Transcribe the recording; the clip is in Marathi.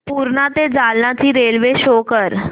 पूर्णा ते जालना ची रेल्वे शो कर